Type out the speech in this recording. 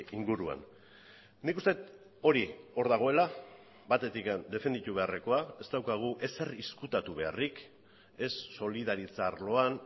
inguruan nik uste dut hori hor dagoela batetik defenditu beharrekoa ez daukagu ezer ezkutatu beharrik ez solidaritza arloan